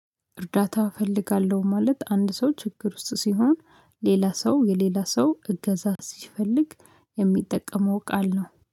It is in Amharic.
እርዳታ እፈልጋለሁ ማለት አንድ ሰው ችግር ውስጥ ሲሆን ሌላ ሰው የሌላ ሰው እገዛ ሲፈልግ የሚጠቀመው ቃል ነው።